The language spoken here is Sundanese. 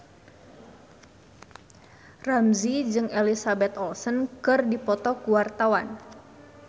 Ramzy jeung Elizabeth Olsen keur dipoto ku wartawan